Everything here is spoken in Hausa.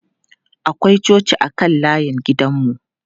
Akwai coci a kan layin gidan mu.